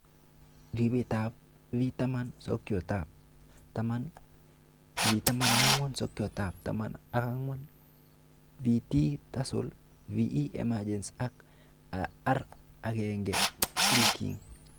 Ribetab V10- sokyootab taman, V14- sokyootab taman ak angwan, VT- Tassel, VE- Emergence ak R1-silking